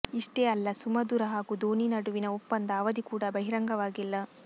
ಇಷ್ಟೇ ಅಲ್ಲ ಸುಮಧುರ ಹಾಗೂ ಧೋನಿ ನಡುವಿನ ಒಪ್ಪಂದ ಅವಧಿ ಕೂಡ ಬಹಿರಂಗವಾಗಿಲ್ಲ